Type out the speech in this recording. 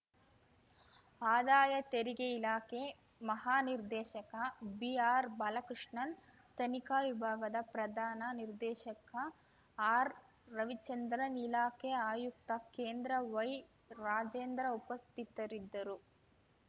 ಆದಾಯ ತೆರಿಗೆ ಇಲಾಖೆ ಮಹಾನಿರ್ದೇಶಕ ಬಿಆರ್‌ಬಾಲಕೃಷ್ಣನ್‌ ತನಿಖಾ ವಿಭಾಗದ ಪ್ರಧಾನ ನಿರ್ದೇಶಕ ಆರ್‌ರವಿಚಂದ್ರನ್‌ ಇಲಾಖೆ ಆಯುಕ್ತ ಕೇಂದ್ರವೈರಾಜೇಂದ್ರ ಉಪಸ್ಥಿತರಿದ್ದರು